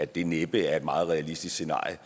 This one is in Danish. det næppe er et meget realistisk scenarie